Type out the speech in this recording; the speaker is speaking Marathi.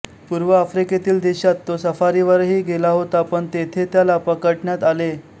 पूर्व आफ्रिकेतील देशांत तो सफारीवरही गेला होता पण तेथे त्याला पकडण्यात आले